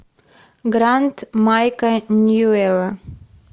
гранд майка ньюэлла